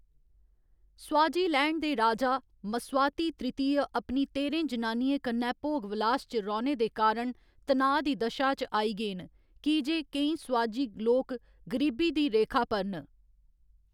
Swaziland दे राजा, Mswati तृतीय, अपनी तेह्‌रें जनानियें कन्नै भोग विलास च रौह्‌‌‌ने दे कारण तनाऽ दी दशा च आई गे न, की जे केईं स्वाजी लोक गरीबी दी रेखा पर न।